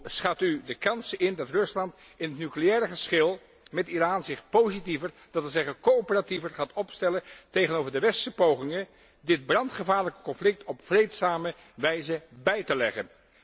Hoe schat u de kansen in dat Rusland in het nucleaire geschil met Iran zich positiever, dat wil zeggen coöperatiever gaat opstellen tegenover de westerse pogingen dit brandgevaarlijk conflict op vreedzame wijze bij te leggen?